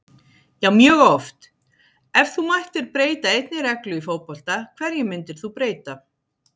Já mjög oft Ef þú mættir breyta einni reglu í fótbolta, hverju myndir þú breyta?